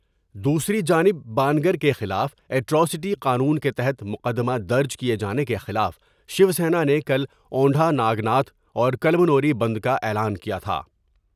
دوسری جانب با نگر کیخلاف ایٹر اسٹی قانون کے تحت مقدمہ درج کیے جانے کے خلاف شیوسینا نے کل اوندھانا گناتھ اور کلمنوری بند کا اعلان کیا تھا ۔